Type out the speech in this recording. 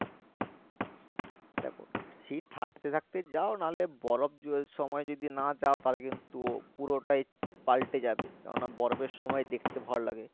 দেখো শীত থাকতে থাকতে যাও নাহলে বরফ সময় না যাও তাহলে কিন্তু পুরোটাই পালটে যাবে কেননা বরফের সময় দেখতে ভালো লাগে